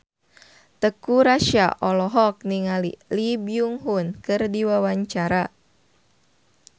Teuku Rassya olohok ningali Lee Byung Hun keur diwawancara